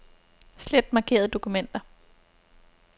Slet markerede dokumenter.